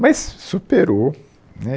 Mas superou né.